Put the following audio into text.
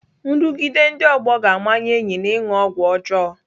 Nrụgide ndị ọgbọ ga-amanye enyi m ịṅụ ọgwụ ọjọọ.